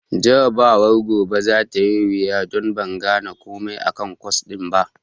Jarabawar gobe za ta yi wuya don ban gane komai akan kwas ɗin ba.